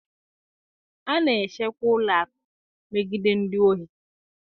A na-echekwa ụlọ akụ megide ndị ohi